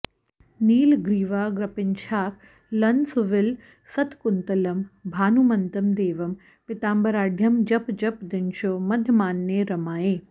नीलग्रीवाग्रपिञ्छाकलनसुविलसत्कुन्तलं भानुमन्तं देवं पीताम्बराढ्यं जप जप दिनशो मध्यमाह्ने रमायै